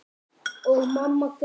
Og mamma grét.